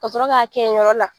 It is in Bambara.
Ka sɔrɔ ka kɛ yen yɔrɔ la.